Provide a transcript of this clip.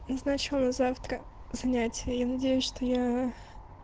назначу на завтра занятия я надеюсь что я